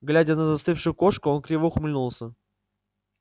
глядя на застывшую кошку он криво ухмыльнулся